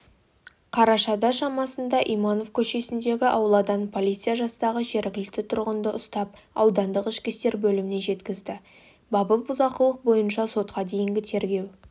қарашада шамасында иманов көшесіндегі ауладан полиция жастағы жергілікті тұрғынды ұстап аудандық ішкі істер бөліміне жеткізді бабы бұзақылық бойынша сотқа дейінгі тергеу